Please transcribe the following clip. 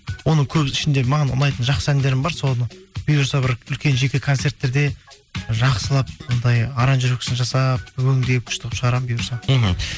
оның көбі ішіндегі маған ұнайтын жақсы әндерім бар соны бұйырса бір үлкен жеке концерттерде жақсылап анадай аранжировкасын жасап өңдеп күшті қылып шығарамын бұйырса мхм